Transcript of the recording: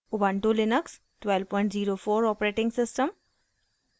* ubuntu Linux 1204 os